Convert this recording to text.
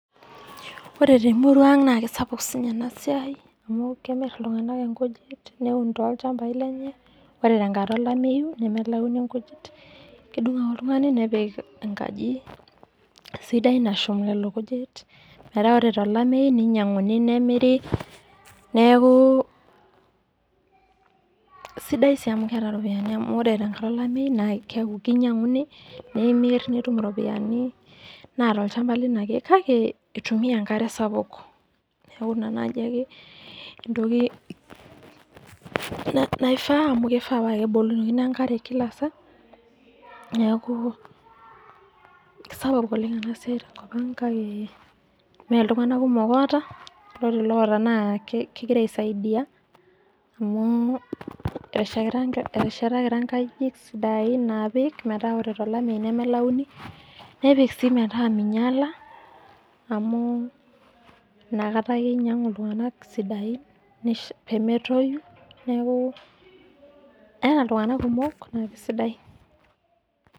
Ore te emurua aang' naa sapuk sii ninye ena siai amu kemir ilung'ana inkujit, neun too ilchambai lenye, ore te enkata olameyu nemelayuni inkujit. Kedung' ake oltung'ani nepik enkaji sidai nashum nena kujit, metaa ore te olameyu, neinyang'uni nemiri. Neaku sidai sii amu keata iropiani amu ore tenkata olameyu naa keinyang'uni, nemiri nitum iropiani naa tolchamba lino ake. Kake keitumiya enkare sapuk. Neaku naaji entoki ake naifaa, amu keifaa nebukokini enkare kila saa, neaku sapuk ena siai oleng' tenkop ang', kake mee iltung'ana kumok oata, naa ore iloata naa kegira aisaidia, amu keteshetakita inkajijik sidain naapik metaa ore tolameyu nemelayuni, nepik sii metaa meinyala amu inakata ake einyang'u iltung'anak sidain pemetoyu, neaku eata iltung'anak kumok naake sidai.